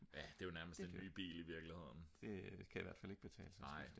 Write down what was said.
ja det er jo nærmest en ny bil i virkeligheden